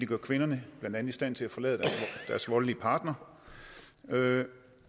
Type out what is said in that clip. gør kvinderne i stand til at forlade deres voldelige partner